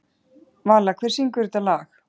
Vala, hver syngur þetta lag?